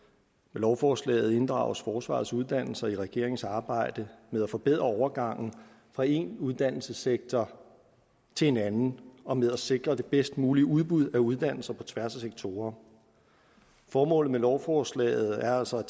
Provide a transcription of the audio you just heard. lovforslaget inddrages forsvarets uddannelser i regeringens arbejde med at forbedre overgangen fra en uddannelsessektor til en anden og med at sikre det bedst mulige udbud af uddannelser på tværs af sektorer formålet med lovforslaget er altså